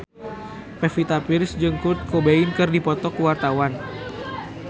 Pevita Pearce jeung Kurt Cobain keur dipoto ku wartawan